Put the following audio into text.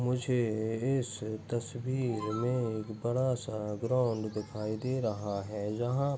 मुझे इस तस्वीर मे एक बड़ा सा ग्राउन्ड दिखाई दे रहा है जहाँ --